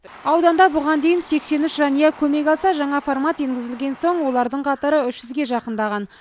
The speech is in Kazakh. ауданда бұған дейін сексен үш жанұя көмек алса жаңа формат енгізілген соң олардың қатары үш жүзге жақындаған